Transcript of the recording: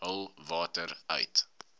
hul water uit